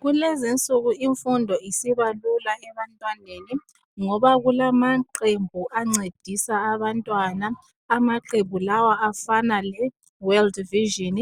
Kulezinsuku imfundo sisiba lula ebantwaneni ngoba kulamaqembu ancedisa abantwana amaqembu lawa afana le world vision